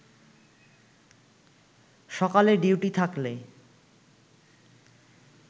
সকালে ডিউটি থাকলে